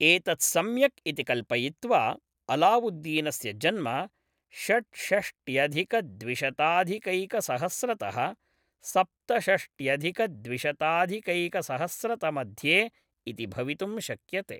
एतत् सम्यक् इति कल्पयित्वा, अलावुद्दीनस्य जन्म षड्षष्ट्यधिकद्विशताधिकैकसहस्रतः सप्तषष्ट्यधिकद्विशताधिकैकसहस्रतमध्ये इति भवितुं शक्यते।